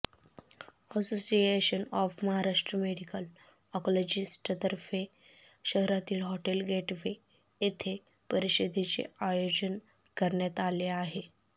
association of Maharashtra medical आँकॉलॉजिस्टतर्फे शहरातील hotel gateway येथे परिषदेचे आयोजन करण्यात आले आहे